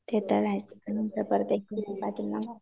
ते तर आहेच